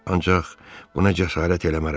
ancaq buna cəsarət eləmərəm.